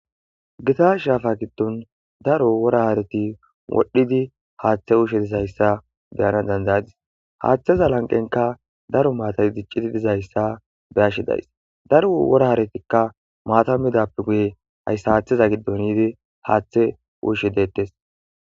gita shafa gidon daro wora hareti wodhidi hathe uyishe dizaysa beyan dad'adis hatheza lanqenkka daro maatay dicidi dizaysa beyashe dayisi daro wora haretikka maata midappe guye haysa hatheza gidon yidi hathe uyishe detese